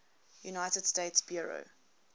united states bureau